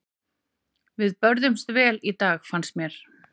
Við börðumst vel í dag fannst mér.